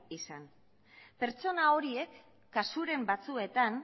izan pertsona horiek kasuren batzuetan